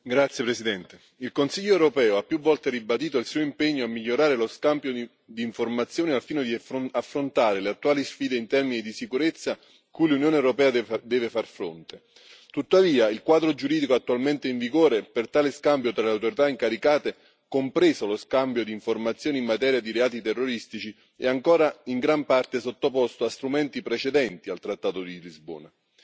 Signor Presidente, onorevoli colleghi, il Consiglio europeo ha più volte ribadito il suo impegno a migliorare lo scambio di informazioni al fine di affrontare le attuali sfide in termini di sicurezza cui l'Unione europea deve far fronte. Tuttavia, il quadro giuridico attualmente in vigore per tale scambio tra le autorità incaricate, compreso lo scambio di informazioni in materia di reati terroristici, è ancora in gran parte sottoposto a strumenti precedenti al trattato di Lisbona.